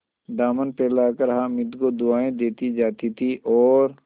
दामन फैलाकर हामिद को दुआएँ देती जाती थी और